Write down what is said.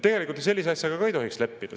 Tegelikult me sellise asjaga ei tohiks leppida.